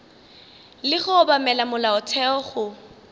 le go obamela molaotheo go